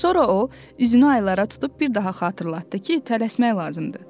Sonra o, üzünü aylara tutub bir daha xatırlatdı ki, tələsmək lazımdır.